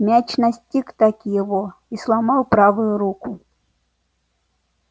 мяч настиг-таки его и сломал правую руку